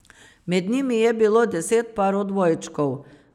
Med njimi je bilo deset parov dvojčkov.